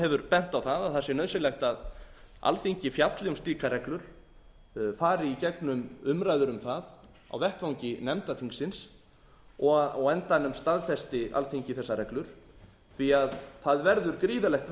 hefur bent á það að það sé nauðsynlegt að alþingi fjalli um slíkar reglur fari í gegnum umræður um það á vettvangi nefnda þingsins og á endanum staðfesti alþingi þessar reglur því að það verður gríðarlegt